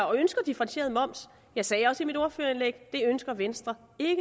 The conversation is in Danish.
og ønsker differentieret moms jeg sagde også i mit ordførerindlæg at venstre ikke